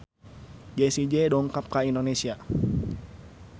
Jessie J dongkap ka Indonesia